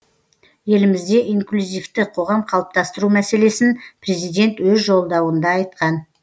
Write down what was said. елімізде инклюзивті қоғам қалыптастыру мәселесін президент өз жолдауында айтқан